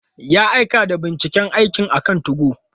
Ya aika da binciken aikin akan 2go.